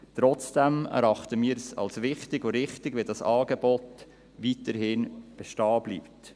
Trotzdem erachten wir es als wichtig und richtig, dass dieses Angebot weiterhin bestehen bleibt.